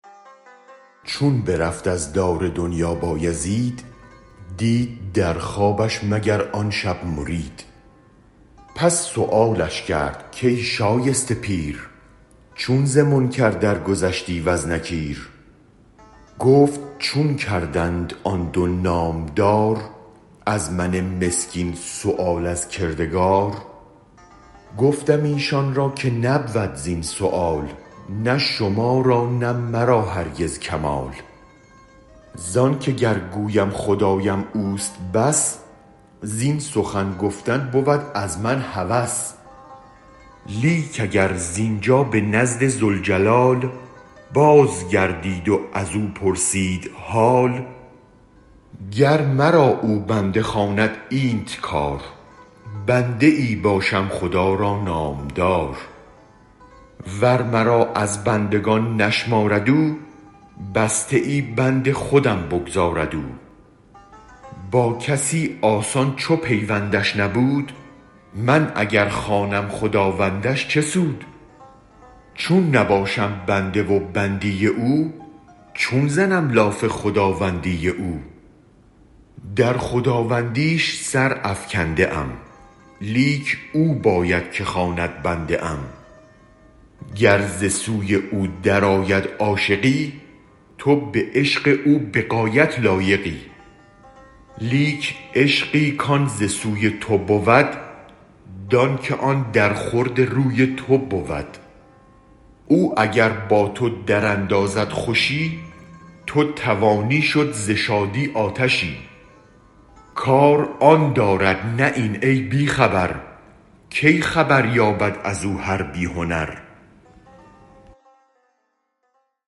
چون برفت از دار دنیا بایزید دید در خوابش مگر آن شب مرید پس سؤالش کرد کای شایسته پیر چون ز منکر درگذشتی وز نکیر گفت چون کردند آن دو نامدار از من مسکین سؤال از کردگار گفتم ایشان را که نبود زین سؤال نه شما را نه مرا هرگز کمال زانک اگر گویم خدایم اوست بس این سخن گفتن بود از من هوس لیک اگر زینجا به نزد ذوالجلال باز گردید و ازو پرسید حال گر مرا او بنده خواند اینت کار بنده ای باشم خدا را نامدار ور مرا از بندگان نشمارد او بسته ای بند خودم بگذارد او با کسی آسان چو پیوندش نبود من اگر خوانم خداوندش چه سود چون نباشم بنده و بندی او چون زنم لاف خداوندی او در خداوندیش سرافکنده ام لیک او باید که خواند بنده ام گر ز سوی او درآید عاشقی تو به عشق او به غایت لایقی لیک عشقی کان ز سوی تو بود دان که آن درخورد روی تو بود او اگر با تو دراندازد خوشی تو توانی شد ز شادی آتشی کار آن دارد نه این ای بی خبر کی خبر یابد ازو هر بی هنر